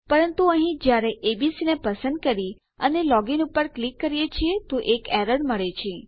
પરંતુ અહીં જયારે એબીસી ને પસંદ કરી અને લોગ ઇન પર ક્લિક કરીએ છીએ તો એક એરર મળે છે